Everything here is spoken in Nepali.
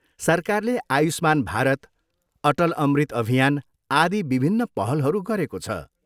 सरकारले आयुष्मान भारत, अटल अमृत अभियान, आदि विभिन्न पहलहरू गरेको छ।